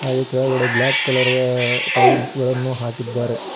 ಅಲ್ಲಿ ಕೆಳಗಡೆ black colour tiles ಗಳನ್ನು ಹಾಕಿದ್ದಾರೆ.